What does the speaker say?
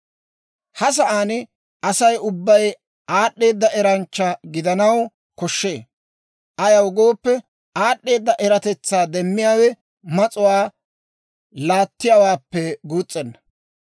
Ha sa'aan Asay ubbay aad'd'eeda eranchcha gidanaw koshshee; ayaw gooppe, aad'd'eeda eratetsaa demmiyaawe mas'uwaa laattiyaawaappe guus's'enna.